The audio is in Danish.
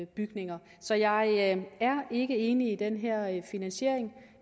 bygninger så jeg er ikke enig i den her finansiering